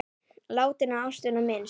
Látinna ástvina minnst.